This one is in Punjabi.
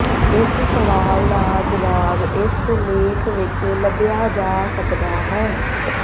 ਇਸ ਸਵਾਲ ਦਾ ਜਵਾਬ ਇਸ ਲੇਖ ਵਿੱਚ ਲੱਭਿਆ ਜਾ ਸਕਦਾ ਹੈ